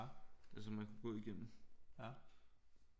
Som man kunne gå igennem